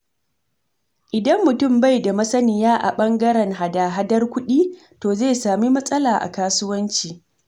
Idan mutum bai da masaniya a ɓangaren hada-hadar kuɗi, to zai sami matsala a kasuwanci.